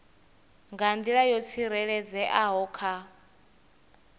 nga nḓila yo tsireledzeaho kha